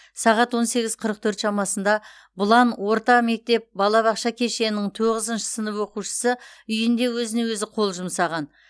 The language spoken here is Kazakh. сағат он сегіз қырық төрт шамасында бұлан орта мектеп балабақша кешенінің тоғызыншы сынып оқушысы үйінде өзіне өзі қол жұмсаған